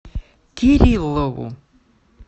кириллову